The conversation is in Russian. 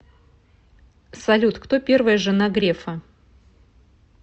салют кто первая жена грефа